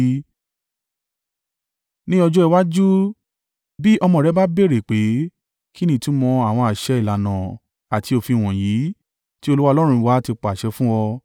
Ní ọjọ́ iwájú, bí ọmọ rẹ bá béèrè pé, “Kí ni ìtumọ̀ àwọn àṣẹ, ìlànà àti òfin wọ̀nyí tí Olúwa Ọlọ́run wa ti pàṣẹ fún ọ?”